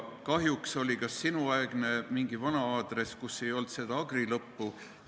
Kahjuks oli see vist sinuaegne mingi vana aadress, kus ei olnud seda agri-osa.